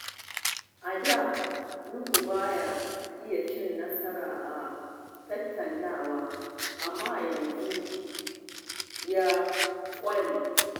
A da, Nuhu ba ya iya cin nasara a tattaunawa, amma yanzu ya ƙware.